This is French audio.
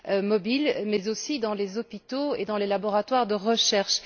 mobile, mais aussi dans les hôpitaux et les laboratoires de recherche.